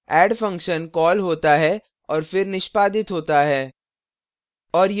add function call होता है और फिर निष्पादित होता है